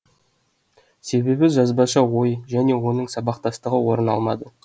себебі жазбаша ой және оның сабақтастығы орын алмады